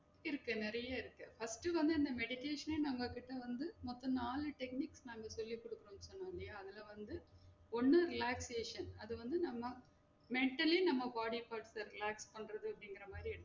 இருக்கு நெறைய இருக்கு first உ வந்து இந்த meditation ஏ நாங்க கிட்ட வந்து மொத்தம் நாளு techniques நாங்க சொல்லி கொடுத்துருக்கோம் இல்லையா அதுல வந்து ஒன்னு reactation அது வந்து நம்ம mentally நம்ம body factor அ react பண்றது அப்டிங்குற மாறி